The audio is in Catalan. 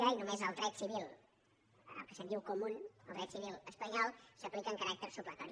i només el dret civil el que se’n diu comú el dret civil espanyol s’aplica amb caràcter supletori